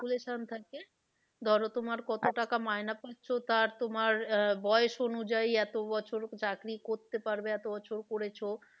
Calculation থাকে ধরো তোমার কত টাকা মাইনে পাচ্ছ তা তোমার আহ বয়স অনুযায়ী এতো বছর চাকরি করতে পারবে এতো বছর করেছো